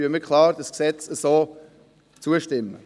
Deshalb stimmen wir dem Gesetz so klar zu.